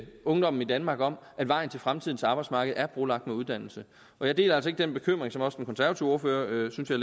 ungdommen i danmark om at vejen til fremtidens arbejdsmarked er brolagt med uddannelse og jeg deler altså ikke den bekymring som også den konservative ordfører synes jeg